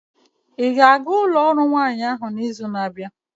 ị ga-aga ụlọ ọrụ nwanyị ahụ n'izu na-abịa?